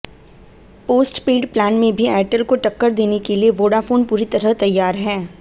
postpaid plan में भी Airtel को टक्कर देने के लिए वोडाफोन पूरी तरह तैयार है